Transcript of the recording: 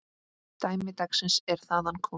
Dæmi dagsins er þaðan komið.